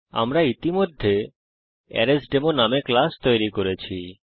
আমরা ইতিমধ্যে আরেসডেমো নামে ক্লাস তৈরি করেছি